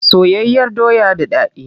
Soyayyar doya da dadi.